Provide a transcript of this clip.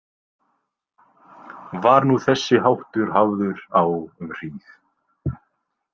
Var nú þessi háttur hafður á um hríð.